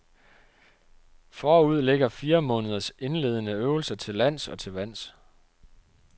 Forud ligger fire måneders indledende øvelser til lands og til vands.